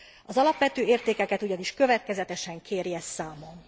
Az alapvető értékeket ugyanis következetesen kérje számon!